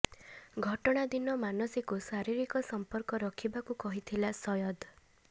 ଘଟଣା ଦିନ ମାନସୀକୁ ଶାରୀରିକ ସଂପର୍କ ରଖିବାକୁ କହିଥିଲା ସୟଦ